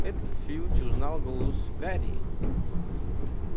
этот филч узнал голос гарри